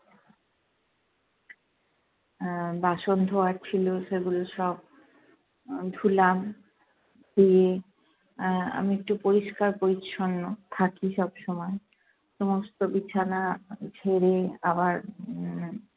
আহ বাসন ধোয়ার ছিলো সেগুলো সব আহ ধুলাম, ধুয়ে আহ আমি একটু পরিষ্কার পরিচ্ছন্ন থাকি সবসময়। সমস্ত বিছানা ঝেরে আবার উম